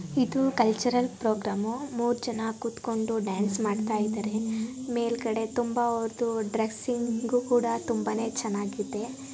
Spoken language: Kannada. ಇದು ಕಲ್ಚರಲ್ ಪ್ರೊಗ್ರಾಮು ಮೂರ್ ಜನ ಕುತ್ಕೊಂಡು ಡಾನ್ಸ್ ಮಾಡ್ತಾಯಿದರೆ. ಮೇಲ್ಗಡೆ ತುಂಬಾ ಅವರ್ದು ಡ್ರೆಸ್ಸಿಂಗು ಕೂಡ ತುಂಬಾನೇ ಚೆನ್ನಾಗಿದೆ.